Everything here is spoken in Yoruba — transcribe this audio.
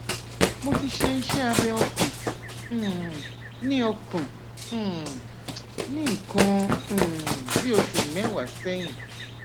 mo ti ṣe iṣẹ abẹ ọkàn um ní ọkàn um ní nǹkan um bí oṣù mẹwàá sẹyìn